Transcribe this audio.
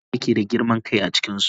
Wanene yake da girman kai a cikinsu?